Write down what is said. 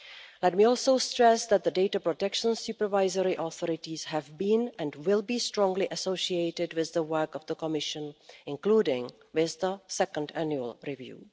Let me also stress that the data protection supervisory authorities have been, and will be, strongly associated with the work of the Commission, including with the second annual review.